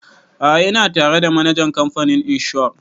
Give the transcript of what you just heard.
A'a ina tare da manajan kamfanin inshor